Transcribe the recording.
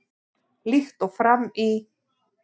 Líkt og fram í